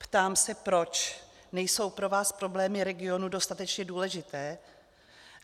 Ptám se, proč nejsou pro vás problémy regionu dostatečně důležité?